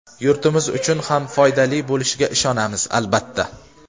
yurtimiz uchun ham foydali bo‘lishiga ishonamiz, albatta.